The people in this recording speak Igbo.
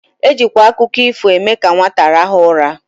Ejikwa akụkọ ifo eme ka nwata rahụọ ụra.